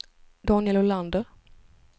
Daniel Olander